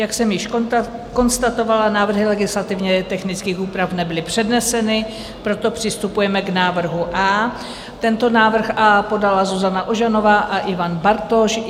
Jak jsem již konstatovala, návrhy legislativně technických úprav nebyly předneseny, proto přistupujeme k návrhu A. Tento návrh A podala Zuzana Ožanová a Ivan Bartoš.